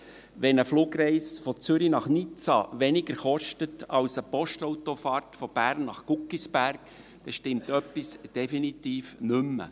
Wenn eine Zugreise von Zürich nach Nizza weniger kostet, als eine Postautofahrt von Bern nach Guggisberg, dann stimmt etwas definitiv nicht mehr.